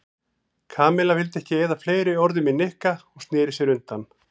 Kamilla vildi ekki eyða fleiri orðum í Nikka og snéri sér undan.